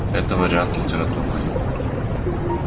это вариант литературной